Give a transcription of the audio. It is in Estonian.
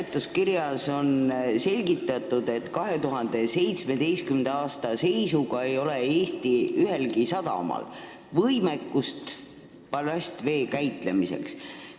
Seletuskirjas on öeldud, et 2017. aasta seisuga ei ole ühelgi Eesti sadamal võimekust ballastvee käitlemiseks.